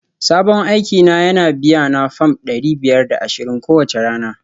Sabon aiki na yana biyana fam dari biyar da ashirin kowace rana